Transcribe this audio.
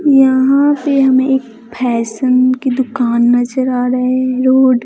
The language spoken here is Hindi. यहां पे हमें एक फैशन की दुकान नजर आ रहे रोड --